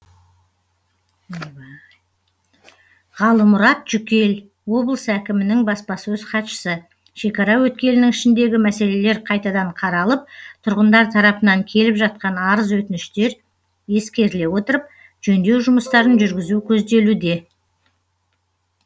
ғалымұрат жүкел облыс әкімінің баспасөз хатшысы шекара өткелінің ішіндегі мәселелер қайтадан қаралып тұрғындар тарапынан келіп жатқан арыз өтініштер ескеріле отырып жөндеу жұмыстарын жүргізу көзделуде